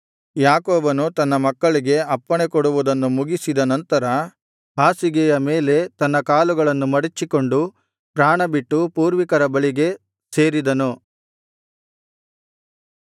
ಯಾಕೋಬನು ತನ್ನ ಮಕ್ಕಳಿಗೆ ಅಪ್ಪಣೆ ಕೊಡುವುದನ್ನು ಮುಗಿಸಿದ ನಂತರ ಹಾಸಿಗೆಯ ಮೇಲೆ ತನ್ನ ಕಾಲುಗಳನ್ನು ಮಡಚಿಕೊಂಡು ಪ್ರಾಣಬಿಟ್ಟು ಪೂರ್ವಿಕರ ಬಳಿಗೆ ಸೇರಿದನು